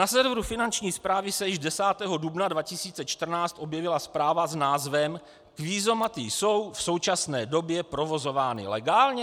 Na serveru Finanční správy se již 10. dubna 2014 objevila zpráva s názvem: Kvízomaty jsou v současné době provozovány legálně?